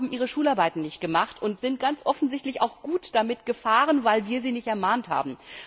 Alle anderen haben ihre Schularbeiten nicht gemacht und sind ganz offensichtlich gut damit gefahren, weil wir sie nicht ermahnt haben.